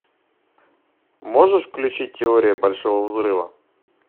можешь включить теория большого взрыва